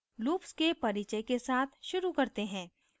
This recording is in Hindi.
loops के परिचय के साथ शुरू करते हैं